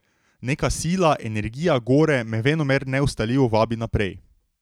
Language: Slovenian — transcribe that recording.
Neka sila, energija gore me venomer neustavljivo vabi naprej.